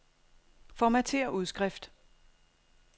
Formatér udskrift.